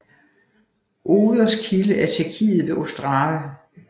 Oders kilde er i Tjekkiet ved Ostrava